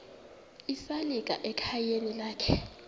esalika ekhayeni lakhe